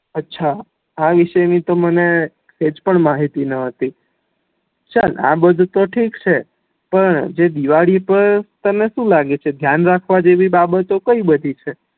અછા આ વિશે ની તો મને સેહજ પણ માહિતી ન હતી ચલ આબધુ તો ઠીક છે પણ જે દિવાળી ઉપર તને શું લાગે છે ધ્યાન રાખવા જેવી બાબતો કઈ બધી છે